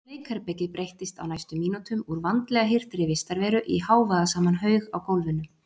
Og leikherbergið breyttist á næstu mínútum úr vandlega hirtri vistarveru í hávaðasaman haug á gólfinu.